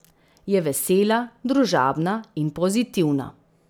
Je vesela, družabna, in pozitivna.